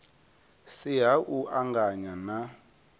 si ha u anganya na